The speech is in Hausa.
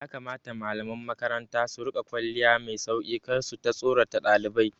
Ya kamata malaman makaranta su riƙa kwalliya mai sauki kar suta tsorata ɗalibai